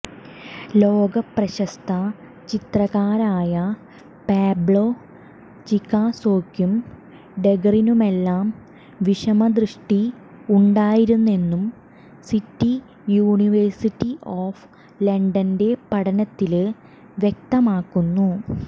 ലോകപ്രശസ്ത ചിത്രകാരായ പാബ്ലോ പിക്കാസോയ്ക്കും ഡെഗറിനുമെല്ലാം വിഷമദൃഷ്ടി ഉണ്ടായിരുന്നെന്നും സിറ്റി യൂണിവേഴ്സിറ്റി ഒഫ് ലണ്ടന്റെ പഠനത്തില് വ്യക്തമാക്കുന്നു